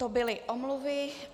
To byly omluvy.